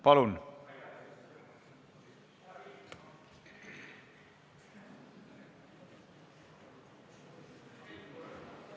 Palun!